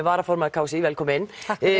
varaformaður k s í velkomin